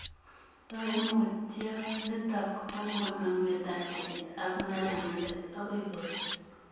Kaimutyot nitok kokonuu ngetatet ak nyalulet akoyai kopeet